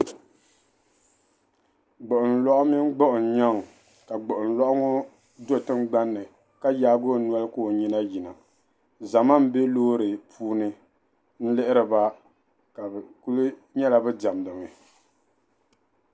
Gbuɣin lɔɣu mini gbuɣin nyɛn kaa gbuɣin lɔɣu ŋo do' tingbani ka yaagi noli ka o nyina yina zama m-be loori puuni n-lihiriba kadi kuli nyɛla bi demdimi